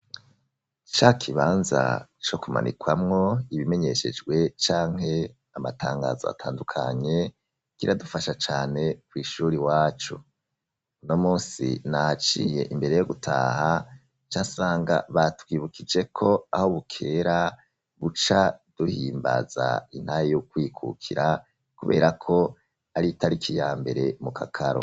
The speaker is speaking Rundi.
Cakibanza co kumanikwamwo ibimenyeshejwe canke amatangazo atandukanye kiradufasha cane ku ishuri wacu. Uno munsi naciye imbere yo gutaha casanga batwibukije ko aho bukera buca duhimbaza intahe yokwikukira kubera ko ari itarik iya mbere mu kakaro.